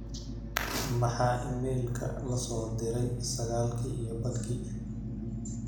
Maxaa iimaylka la soo diray sagaalkii iyo badhkii